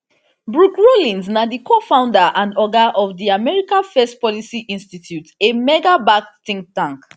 brooke rollins na di cofounder and oga of di america first policy institute a magabacked think tank